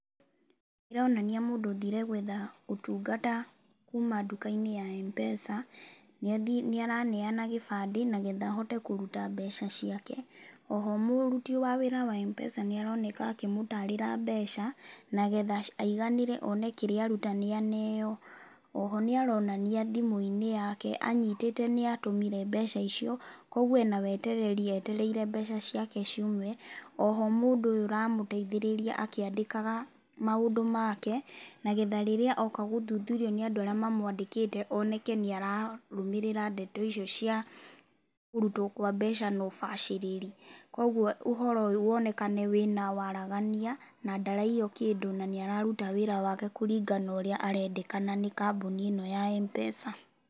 ĩronania mũndũ ũthire gũetha ũtungata kuma nduka-inĩ ya M-PESA. Nĩaraneana kĩbandĩ nĩgetha ahote kũruta mbeca ciake. Oho mũruti wa wĩra wa M-PESA nĩaroneka akĩmũtarĩra mbeca nĩgetha aiganĩre one kĩrĩa aruta aneo. Oho nĩaronania thimũ-inĩ yake anyitĩte nĩatũmire mbeca icio kũguo ena wetereri etereire mbeca ciake ciume. Oho mũndũ ũyũ ũramũteithĩrĩria akĩandĩkaga maũndũ make nĩgetha rĩrĩaoka gũthuthurio nĩ andũ arĩa mamwandĩkĩte oneke nĩararũmĩrĩra ndeto icio cia kũrutwo gwa mbeca na ũbacĩrĩri. Kũguo ũhoro ũyũ wonekane wĩna waragania na ndaraiywo kĩndũ na nĩararuta wĩra wake kũringana na ũrĩa arendekana nĩ kambuni ĩno ya M-PESA.